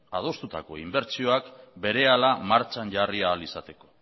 adostutako inbertsioak berehala martxan jarri ahal izateko